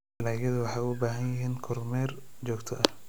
Dalagyadu waxay u baahan yihiin kormeer joogto ah.